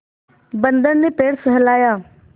बंदर ने पैर सहलाया